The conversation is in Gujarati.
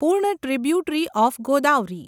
પૂર્ણ ટ્રિબ્યુટરી ઓફ ગોદાવરી